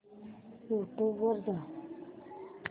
YouTube वर जा